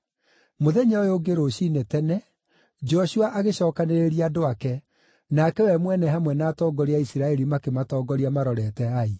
Mũthenya ũyũ ũngĩ rũciinĩ tene, Joshua agĩcookanĩrĩria andũ ake, nake we mwene hamwe na atongoria a Isiraeli makĩmatongoria marorete Ai.